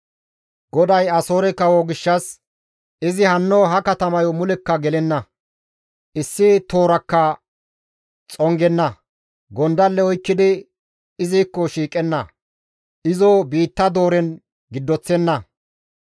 «GODAY Asoore kawo gishshas, « ‹Izi hanno ha katamayo mulekka gelenna; issi toorakka xongenna; gondalle oykkidi izikko shiiqenna; izo biitta dooren giddoththenna.